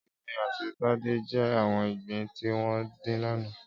Émí àtí Tade jè áwòn igbín tiwòn din làná